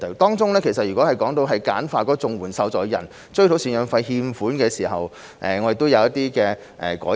當中，就簡化綜援受助人追討贍養費欠款的程序，我們亦正進行一些改善。